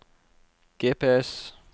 GPS